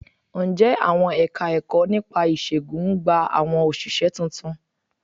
Ǹjẹ́ àwọn Ẹ̀ka-ẹ̀kọ́ nípa ìṣègùn ń gba àwọn òṣìṣẹ́ tuntun?